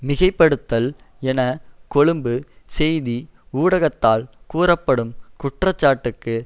மிகைப்படுத்தல் என கொழும்பு செய்தி ஊடகத்தால் கூறப்படும் குற்றச்சாட்டுக்கு